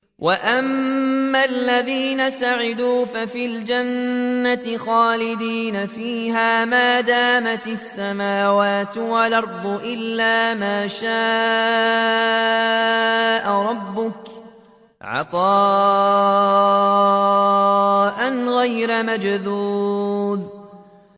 ۞ وَأَمَّا الَّذِينَ سُعِدُوا فَفِي الْجَنَّةِ خَالِدِينَ فِيهَا مَا دَامَتِ السَّمَاوَاتُ وَالْأَرْضُ إِلَّا مَا شَاءَ رَبُّكَ ۖ عَطَاءً غَيْرَ مَجْذُوذٍ